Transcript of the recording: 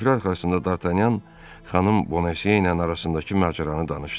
Süfrə arxasında Dartanyan xanım Bonesiyə ilə arasındakı macəranı danışdı.